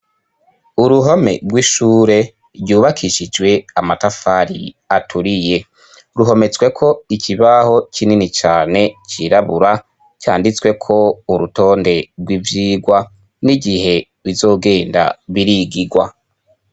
Uruhome rw'ishure ryubakishijwe amatafari aturiye. Ruhometsweko ikibaho kinini cane cirabura, canditsweko urutonde rw'ivyigwa n'igihe bizogenda birigigwa.